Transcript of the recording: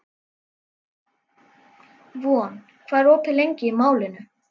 Von, hvað er opið lengi í Málinu?